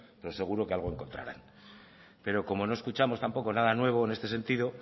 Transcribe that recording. pero seguro que algo encontrará pero como no escuchamos tampoco nada nuevo en este sentido